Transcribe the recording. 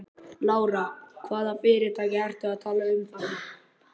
Lára: Hvaða fyrirtæki ertu að tala um þarna?